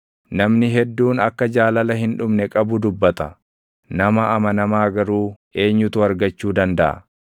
Namni hedduun akka jaalala hin dhumne qabu dubbata; nama amanamaa garuu eenyutu argachuu dandaʼa?